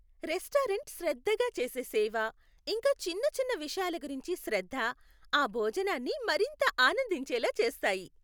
Restaurant శ్రద్ధగా చేసే సేవ, ఇంకా చిన్న చిన్న విషయాల గురించి శ్రద్ధ, ఆ భోజనాన్ని మరింత ఆనందించేలా చేస్తాయి.